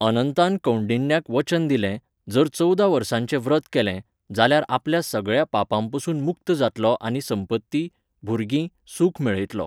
अनंतान कौंडिन्याक वचन दिलें, जर चवदा वर्सांचें व्रत केलें, जाल्यार आपल्या सगळ्या पापांपसून मुक्त जातलो आनी संपत्ती, भुरगीं, सुख मेळयतलो.